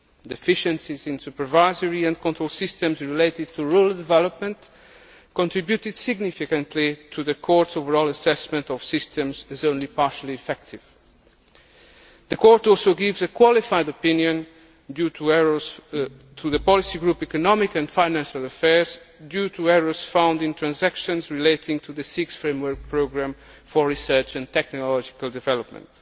Deficiencies in supervisory and control systems related to rural development contributed significantly to the Court's overall assessment of systems as only partially effective. The Court also gives a qualified opinion to the policy group Economic and financial affairs due to errors found in transactions relating to the Sixth Framework Programme for Research and Technological Development.